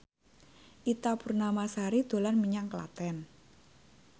Ita Purnamasari dolan menyang Klaten